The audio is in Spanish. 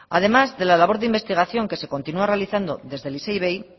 además de la labor de investigación que se continúa realizando desde el isei ivei